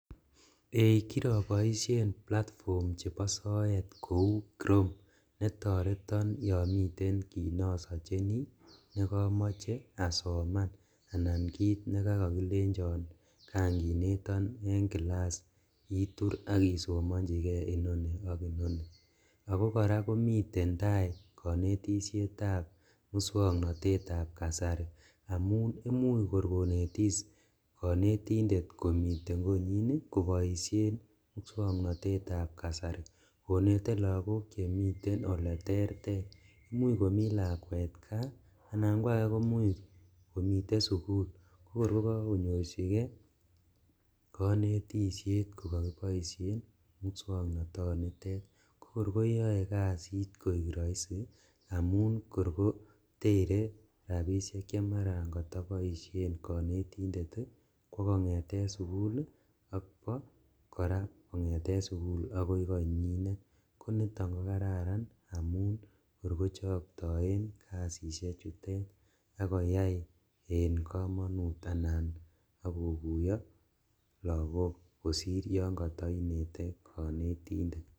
Eeh! Kiraboisien platfom chebo soet kou krom ne toreton yomiten kit nosacheni nekamache asoman anan kit nekakakilenjon kan kineton eng kilas itur ak isomanjige inoni ak inoni. Ago kora komiten tai kanetisietab muswoknatetab kasari amun imuch korkonetis konetindet komiten konyin koboisien moswoknatetab kasari konete lagok che miten oleterter. Imuch komi lakwet kaa anan kwage komuch kimiten sugul kokor ko kakonyorchige konetisyet ko kakiboisien musyoknotonitet. Kokor koyae kasit koik raisi amun korkotere rapisiek che marakataboisien konetindet, kokongeten sugul ak kwo kora kongeten sugul agoi konyinet. Koniton ko kararan amun kor kochaktaen kasisie chutet ak koyai en kamanut anan koguyo lagok kosir yon katainete konetindet.